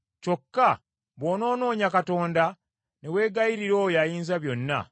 Kyokka bw’onoonoonya Katonda, ne weegayirira oyo Ayinzabyonna,